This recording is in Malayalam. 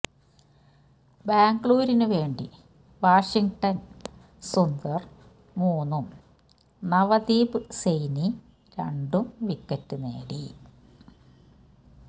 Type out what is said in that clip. ബാംഗ്ലൂരിന് വേണ്ടി വാഷിങ്ടണ് സുന്ദര് മൂന്നും നവദീപ് സെയ്നി രണ്ടും വിക്കറ്റ് നേടി